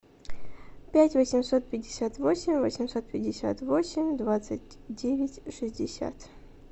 пять восемьсот пятьдесят восемь восемьсот пятьдесят восемь двадцать девять шестьдесят